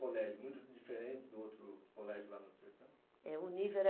o colégio, muito diferente do outro colégio lá no sertão? É, o nível era